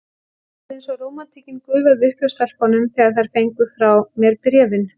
Það var eins og rómantíkin gufaði upp hjá stelpunum, þegar þær fengu frá mér bréfin.